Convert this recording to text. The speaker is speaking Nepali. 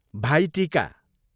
भाइ टिका